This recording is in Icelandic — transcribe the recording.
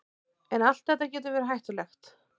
En allt þetta getur verið hættulegt.